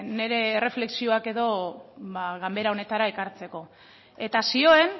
nire erreflexioak edo ba ganbera honetara ekartzeko eta zioen